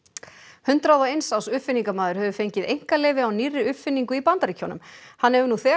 hundrað og eins árs uppfinningamaður hefur fengið einkaleyfi á nýrri uppfinningu í Bandaríkjunum hann hefur nú þegar